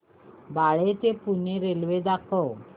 बाळे ते पुणे रेल्वे दाखव